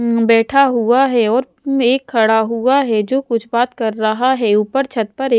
उम्म बैठा हुआ है और उ एक खड़ा हुआ है जो कुछ बात कर रहा है ऊपर छत पर एक --